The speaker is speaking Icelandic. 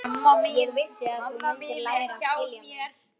Ég vissi að þú mundir læra að skilja mig.